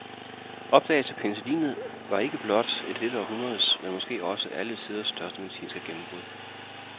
Opdagelsen af penicillinet var ikke blot et af dette århundredes, men måske et af alle tiders største medicinske gennembrud.